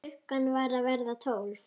Klukkan var að verða tólf.